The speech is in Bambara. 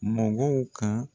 Mɔgɔw ka